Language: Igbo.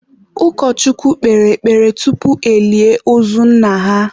ụkọchukwu kpere ekpere tupu elie ozu nna ha